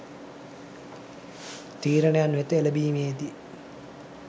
තීරණයන් වෙත එළඹීමේ දී